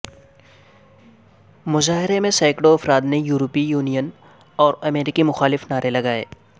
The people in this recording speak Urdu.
مظاہرے میں سینکڑوں افراد نے یورپی یونین اور امریکہ مخالف نعرے لگائے